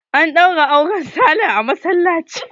An ɗaura auren Sale a masallaci.